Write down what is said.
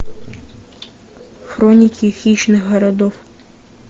хроники хищных городов